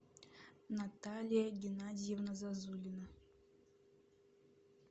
наталья геннадьевна зазулина